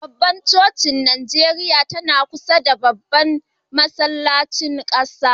Babbar cocin NIjeriya tana kusa da Babban masallacin ƙasa.